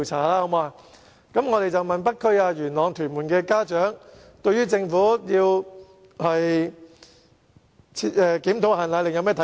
我們曾經訪問北區、元朗、屯門的家長對政府打算檢討"限奶令"的看法。